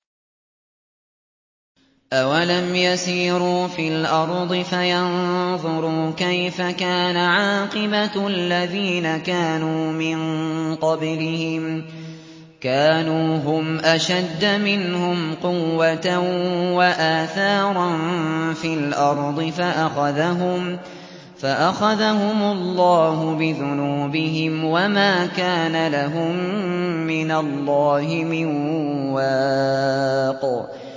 ۞ أَوَلَمْ يَسِيرُوا فِي الْأَرْضِ فَيَنظُرُوا كَيْفَ كَانَ عَاقِبَةُ الَّذِينَ كَانُوا مِن قَبْلِهِمْ ۚ كَانُوا هُمْ أَشَدَّ مِنْهُمْ قُوَّةً وَآثَارًا فِي الْأَرْضِ فَأَخَذَهُمُ اللَّهُ بِذُنُوبِهِمْ وَمَا كَانَ لَهُم مِّنَ اللَّهِ مِن وَاقٍ